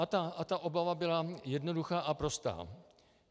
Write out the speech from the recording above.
A ta obava byla jednoduchá a prostá.